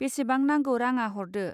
बेसेबां नांगौ राङा हरदो.